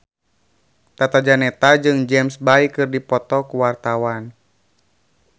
Tata Janeta jeung James Bay keur dipoto ku wartawan